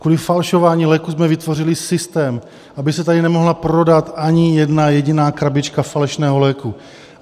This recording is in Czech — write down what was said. Kvůli falšování léků jsme vytvořili systém, aby se tady nemohla prodat ani jedna jediná krabička falešného léku.